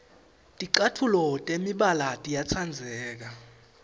ticatfuco temibala tiyatsandzeka